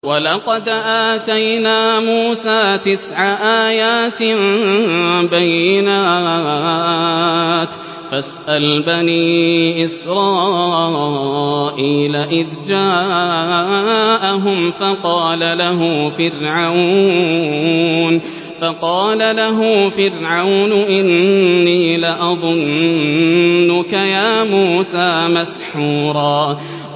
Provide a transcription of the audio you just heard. وَلَقَدْ آتَيْنَا مُوسَىٰ تِسْعَ آيَاتٍ بَيِّنَاتٍ ۖ فَاسْأَلْ بَنِي إِسْرَائِيلَ إِذْ جَاءَهُمْ فَقَالَ لَهُ فِرْعَوْنُ إِنِّي لَأَظُنُّكَ يَا مُوسَىٰ مَسْحُورًا